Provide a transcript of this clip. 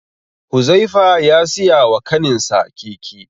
Huzaifa ya siya wa kaninsa keke.